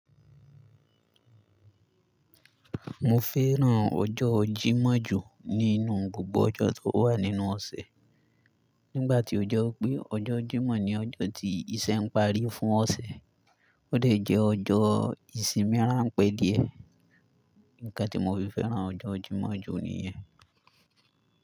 Mo fẹ́ràn ọjọ́ Jímọ̀ jù nínú gbogbo ọjọ́ tó wà nínú ọ̀sẹ̀. Nígbà tí ó jọ pé ọjọ́ Jímọ̀ ní ọjọ́ tí iṣẹ́ ń parí fún ọ̀sẹ̀, ó dẹ̀ jẹ́ ọjọ́ ìsinmi ránpẹ́ díẹ̀. Ǹkan tí mo fi fẹ́ràn ọjọ́ Jímọ̀ jù nìyẹn.